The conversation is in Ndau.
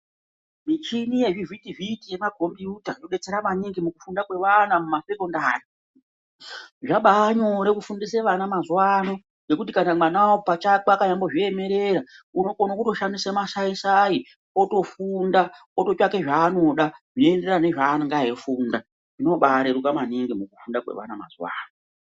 Michini yezvivhiti-vhiti yemakombiyuta inobetsera maningi mukufunda kwevana mumasekondari. Zvabanyore kufundisa vana mazuva ane kuti kana mwana apachake eimbo zviemerera unokone kutoshandisa masai-sai otofunda ototsvake zvaanoda. Zvinoenderana nezvaanenge eifunda zvinobareruka maningi mukufunda kwevana mazuva ano.